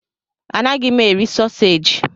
Anaghị m eri sausaji.